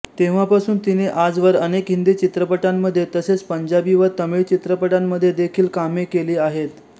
तेव्हापासून तिने आजवर अनेक हिंदी चित्रपटांमध्ये तसेच पंजाबी व तमिळ चित्रपटांमध्ये देखील कामे केली आहेत